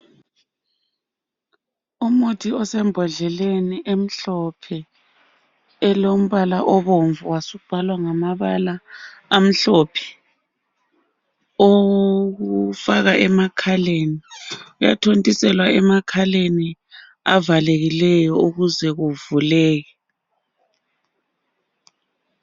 Umuthi osembodleleni emhlophe elombala obomvu wasubhalwa ngamabala amhlophe owokufaka emakhaleni uyathontiselwa emakhaleni avalekileyo ukuze kuvuleke